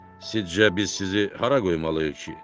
Sizcə biz sizi hara qoymalıyıq ki?